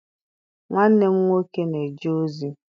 Nwanne m nwoke na-eje ozi